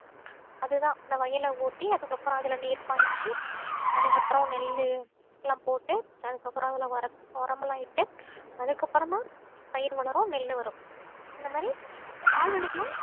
அதுதான் அந்த வயலை ஓட்டி அதுக்கப்புறம் அதுல நீர் பாய்ச்சி அதுக்கப்புறம் நெல்லு எல்லாம் போட்டு அதுக்கப்புறம் அதுல உரம் உரம்ல இட்டு அதுக்கு அப்புறமா பயிர் வளரும் நெல்லு வரும் இந்த மாதிரி கால்நடைகளும்